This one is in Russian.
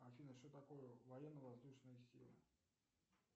афина что такое военно воздушные силы